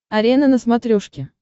арена на смотрешке